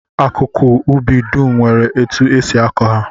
Akụkụ ubi dum nwere etu e si akọ ha